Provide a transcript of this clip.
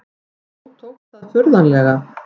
Þó tókst það furðanlega.